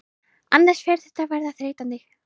Annars fer þetta að verða þreytandi.